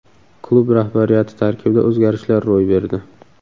Klub rahbariyati tarkibida o‘zgarishlar ro‘y berdi.